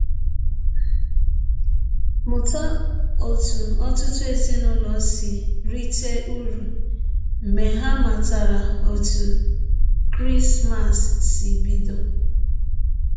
Mụta ọtụ ọtụtụ ezinụlọ si rite ụrụ mgbe ha matara ọtụ Krismas si bidọ.